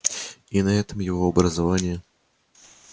и на этом его образование